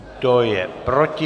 Kdo je proti?